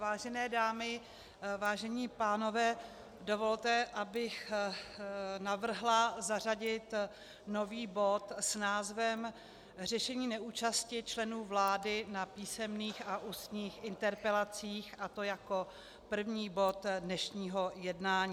Vážené dámy, vážení pánové, dovolte, abych navrhla zařadit nový bod s názvem řešení neúčasti členů vlády na písemných a ústních interpelacích, a to jako první bod dnešního jednání.